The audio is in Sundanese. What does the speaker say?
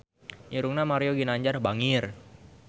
Irungna Mario Ginanjar bangir